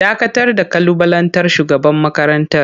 Dakatar da kalubalantar shugaban makarantar!